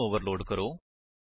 ਇਸਨੂੰ ਓਵਰਲੋਡ ਕਰੋ